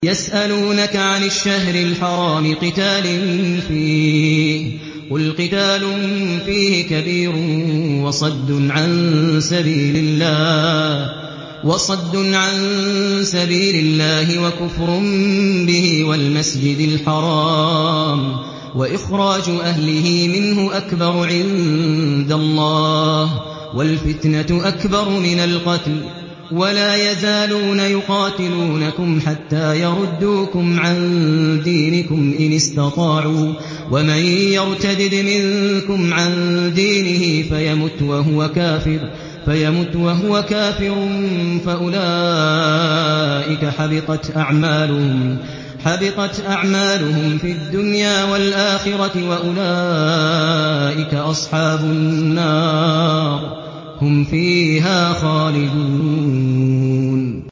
يَسْأَلُونَكَ عَنِ الشَّهْرِ الْحَرَامِ قِتَالٍ فِيهِ ۖ قُلْ قِتَالٌ فِيهِ كَبِيرٌ ۖ وَصَدٌّ عَن سَبِيلِ اللَّهِ وَكُفْرٌ بِهِ وَالْمَسْجِدِ الْحَرَامِ وَإِخْرَاجُ أَهْلِهِ مِنْهُ أَكْبَرُ عِندَ اللَّهِ ۚ وَالْفِتْنَةُ أَكْبَرُ مِنَ الْقَتْلِ ۗ وَلَا يَزَالُونَ يُقَاتِلُونَكُمْ حَتَّىٰ يَرُدُّوكُمْ عَن دِينِكُمْ إِنِ اسْتَطَاعُوا ۚ وَمَن يَرْتَدِدْ مِنكُمْ عَن دِينِهِ فَيَمُتْ وَهُوَ كَافِرٌ فَأُولَٰئِكَ حَبِطَتْ أَعْمَالُهُمْ فِي الدُّنْيَا وَالْآخِرَةِ ۖ وَأُولَٰئِكَ أَصْحَابُ النَّارِ ۖ هُمْ فِيهَا خَالِدُونَ